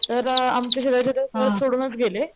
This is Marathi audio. तर आमच्या शेजारचे तर घर सोडूनच गेले.